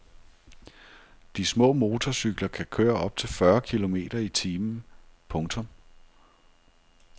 De små motorcykler kan køre op til fyrre kilometer i timen. punktum